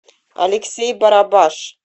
алексей барабаш